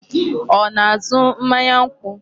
Ọ na-azụ mmanya nkwụ?